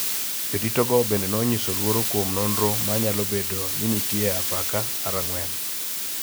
Jodito go bende nonyiso luoro kuom nonro ma nyalo bedo ni nitie apaka mar ang�wen